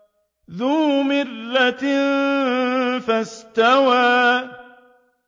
ذُو مِرَّةٍ فَاسْتَوَىٰ